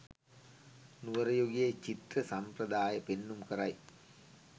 නුවර යුගයේ චිත්‍ර සම්ප්‍රදාය පෙන්නුම් කරයි.